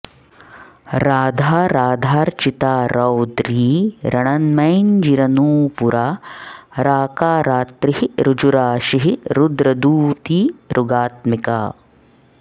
राधा राधार्चिता रौद्री रणन्मञ्जीरनूपुरा राकारात्रिः ऋजूराशिः रुद्रदूती ऋगात्मिका